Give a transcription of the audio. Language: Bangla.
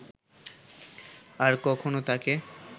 আর কখনও তাকে